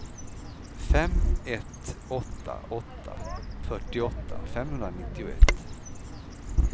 fem ett åtta åtta fyrtioåtta femhundranittioett